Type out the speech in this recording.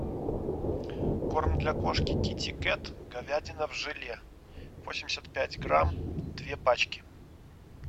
корм для кошки китикет говядина в желе восемьдесят пять грамм две пачки